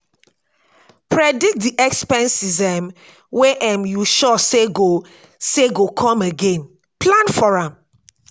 predict di expenses um wey um you sure sey go sey go come again plan for am